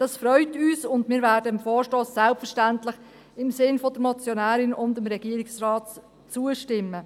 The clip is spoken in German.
Das freut uns, und wir werden dem Vorstoss selbstverständlich im Sinn der Motionärin und dem Regierungsrat zustimmen.